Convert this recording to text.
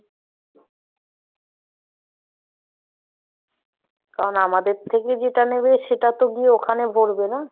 কারণ আমাদের থেকে যেটা নেবে, সেটা তো গিয়ে ওখানে ভরবে না।